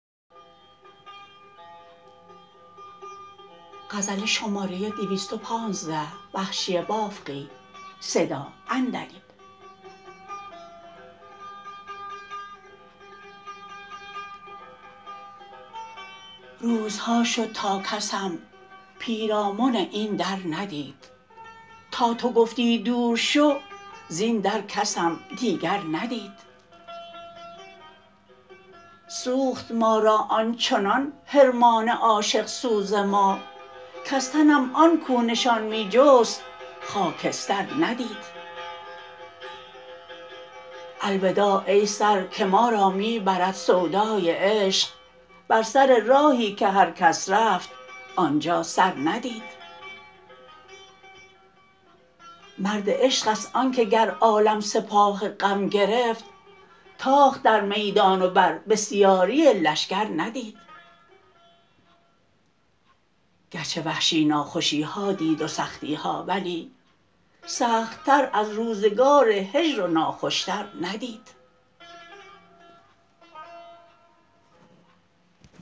روزها شد تا کسم پیرامن این در ندید تا تو گفتی دور شو زین در کسم دیگر ندید سوخت ما را آنچنان حرمان عاشق سوز ما کز تنم آن کو نشان می جست خاکستر ندید الوداع ای سر که ما را می برد سودای عشق بر سر راهی که هر کس رفت آنجا سر ندید مرد عشق است آنکه گر عالم سپاه غم گرفت تاخت در میدان و بر بسیاری لشکر ندید گرچه وحشی ناخوشیها دید و سختیها ولی سخت تر از روزگار هجر و ناخوشتر ندید